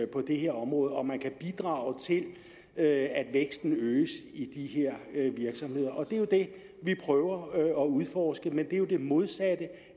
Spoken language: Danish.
på det her område positive man kan bidrage til at væksten øges i de her virksomheder og det er jo det vi prøver at udforske men det er det modsatte